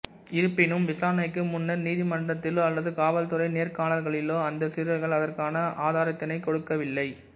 இருப்பினும் விசாரணைக்கு முன்னர் நீதிமன்றத்திலோ அல்லது காவல் துறை நேர்காணல்களிலோ அந்த சிறுவர்கள் அதற்கான ஆதாரத்தினைக் கொடுக்கவில்லை